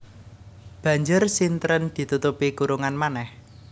Banjur sintren ditutupi kurungan manèh